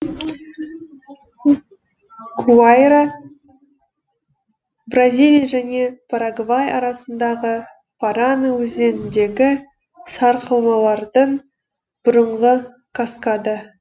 гуайра бразилия және парагвай арасындағы парана өзеніндегі сарқырамалардың бұрынғы каскады